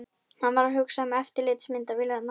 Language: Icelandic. Hann var að hugsa um eftirlitsmyndavélarnar.